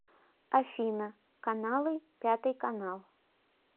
афина каналы пятый канал